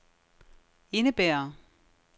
indebærer